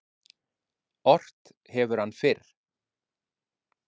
Ort hefur hann fyrr.